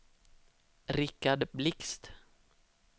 Rikard Blixt